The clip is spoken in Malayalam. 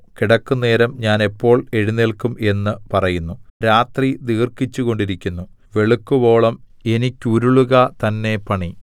കിടക്കുന്നേരം ഞാൻ എപ്പോൾ എഴുന്നേല്ക്കും എന്നു പറയുന്നു രാത്രി ദീർഘിച്ചുകൊണ്ടിരിക്കുന്നു വെളുക്കുവോളം എനിക്കുരുളുക തന്നെ പണി